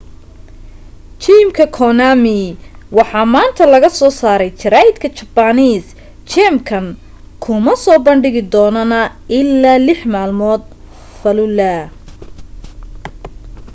geemka konami waxaa maanta laga soo saaray jara'idka japanese geemkan kuma soo bandhigi doonana ilaa lex malmood falluhah